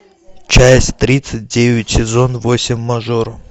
часть тридцать девять сезон восемь мажор